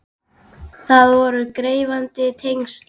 Það voru gefandi tengsl.